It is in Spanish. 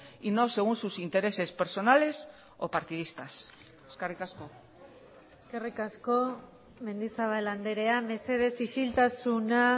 y no según sus intereses personales o partidistas eskerrik asko eskerrik asko mendizabal andrea mesedez isiltasuna